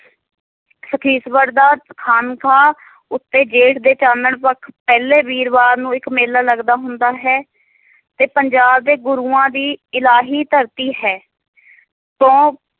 ਸਖੀਸਵਰ ਦਾ ਖਾਮਖ਼ਾ ਉੱਤੇ ਗੇਟ ਦੇ ਚਾਨਣ ਪੱਖ ਪਹਿਲੇ ਵੀਰਵਾਰ ਨੂੰ ਇੱਕ ਮੇਲਾ ਲੱਗਦਾ ਹੁੰਦਾ ਹੈ ਤੇ ਪੰਜਾਬ ਤੇ ਗੁਰੂਆਂ ਦੀ ਇਲਾਹੀ ਧਰਤੀ ਹੈ ਤੋਂ